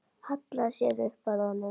Hallar sér upp að honum.